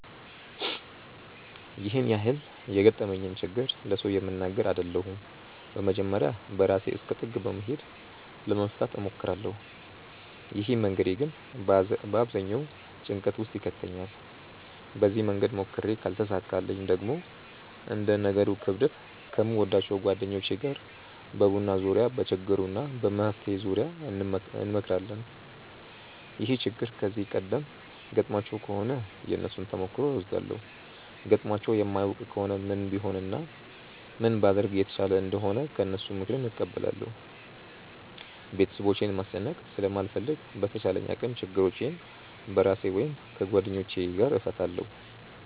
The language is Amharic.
ያን ያህል የገጠመኝን ችግር ለሰው የምናገር አይደለሁም በመጀመርያ በራሴ እስከ ጥግ በመሄድ ለመፍታት እሞክራለው። ይህ መንገዴ ግን በአብዛኛው ጭንቀት ውስጥ ይከተኛል። በዚህ መንገድ ሞክሬ ካልተሳካልኝ ደግሞ እንደ ነገሩ ክብደት ከምወዳቸው ጓደኞቼ ጋር በቡና ዙርያ በችግሩ እና በመፍትሄው ዙርያ እንመክራለን። ይህ ችግር ከዚህ ቀደም ገጥሟቸው ከሆነ የነሱን ተሞክሮ እወስዳለው ገጥሟቸው የማያውቅ ከሆነ ምን ቢሆን እና ምን ባደርግ የተሻለ እንደሆነ ከነሱ ምክርን እቀበላለው። ቤተሰቦቼን ማስጨነቅ ስለማልፈልግ በተቻለኝ አቅም ችግሮቼን በራሴ ወይም ከጓደኞቼ ጋር እፈታለው።